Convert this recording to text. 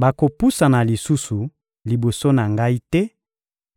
Bakopusana lisusu liboso na Ngai te